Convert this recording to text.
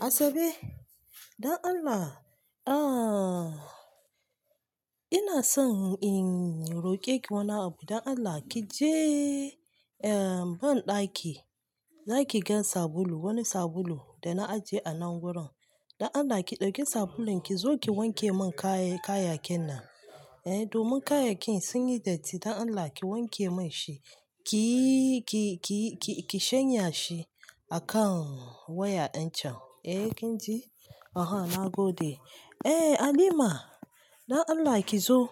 Asabe, don Allah, ah, ina son in roƙe ki wani abu. Don Allah ki je, eh, banɗaki, za ki ga sabulu, wani sabulu da na ajiye a nan wurin. Don Allah ki ɗauki sabulun ki zo ki wanke mun kayi-kayakin nan. Eh, domin kayakin sun yi datti. Don Allah ki wanke mun shi. Ki, ki, ki, ki shanya shi a kan waya ɗin can. Eh, kin ji? Oho, na gode. Eh, Halima, don Allah ki zo.